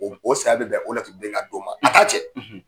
O o saya bɛ bɛn o laturuden ka don ma a t’a jɛ